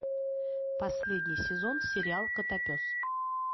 последний сезон сериал котопес